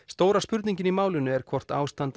stóra spurningin í málinu er hvort ástand